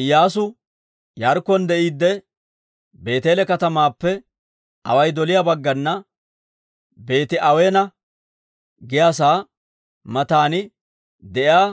Iyyaasu Yaarikkon de'iidde Beeteele katamaappe away doliyaa baggana Beeti-Aweena giyaasaa matan de'iyaa